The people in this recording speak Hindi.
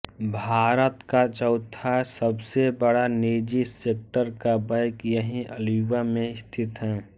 भारत का चौथा सबसे बड़ा निजीसेक्टर का बैंक यहीं अल्युवा में स्थित है